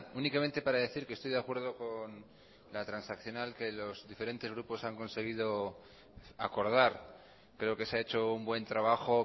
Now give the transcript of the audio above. únicamente para decir que estoy de acuerdo con la transaccional que los diferentes grupos han conseguido acordar creo que se ha hecho un buen trabajo